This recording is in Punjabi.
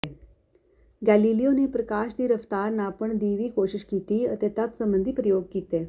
ਗੈਲੀਲੀਓ ਨੇ ਪ੍ਰਕਾਸ਼ ਦੀ ਰਫ਼ਤਾਰ ਨਾਪਣ ਦੀ ਵੀ ਕੋਸ਼ਿਸ਼ ਕੀਤੀ ਅਤੇ ਤਤ ਸੰਬੰਧੀ ਪ੍ਰਯੋਗ ਕੀਤੇ